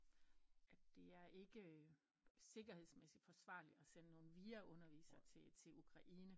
At det er ikke sikkerhedsmæssigt forsvarligt at sende nogen VIA undervisere til til Ukraine